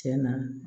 Tiɲɛna